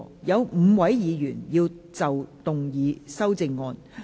有5位議員要動議修正案。